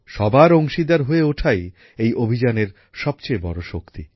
সবার অংশীদার হয়ে ওঠাই এই অভিযানের সবচেয়ে বড় শক্তি